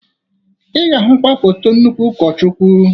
Ị ga-ahụkwa foto nnukwu ụkọchukwu.